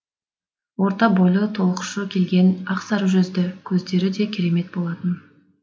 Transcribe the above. орта бойлы толықшы келген ақ сары жүзді көздері де керемет болатын